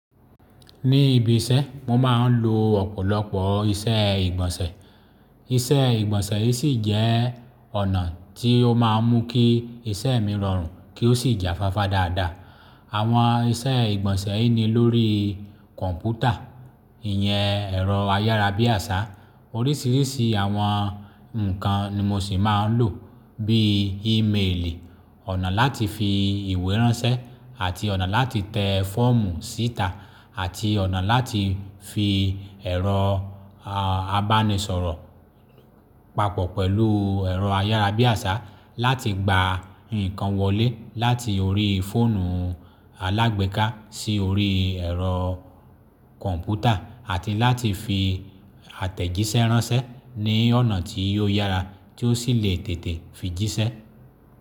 Ní ibi iṣẹ́ mo máa ń lo ọ̀pọ̀lọpọ̀ iṣẹ́ ìgbọ̀nsẹ̀. Iṣẹ́ ìgbọ̀nsẹ̀ yìí sì jẹ́ ọ̀nà tí ó máa ń mú kí iṣẹ́ mi rọrùn kí ó sì jafáfá dáadáa. Àwọn iṣẹ́ ìgbọ̀nsẹ̀ yìí ni lórí kọ̀ǹpútà, ìyẹn ẹ̀rọ ayárabíàṣá. Oríṣìíríṣìí àwọn nǹkan ni mo sì máa ń lò bí i ímeèlì, ọ̀nà láti fi ìwé ránṣẹ́ àti ọ̀nà láti tẹ fọ́ọ̀mù síta àti ọ̀nà láti fi ẹ̀rọ, à, abánisọ̀rọ̀ papọ̀ pẹ̀lú ẹ̀rọ ayárabíàṣá láti gba nǹkan wọlé láti orí fóònù alágbéká sí orí ẹ̀rọ kọ̀ǹpútà àti láti fi àtẹ̀jíṣẹ́ ránṣẹ́ ní ọ̀nà tí ò yára tí ó sì lè tètè fi jíṣẹ́.